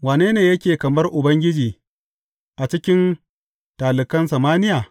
Wane ne yake kamar Ubangiji a cikin talikan samaniya?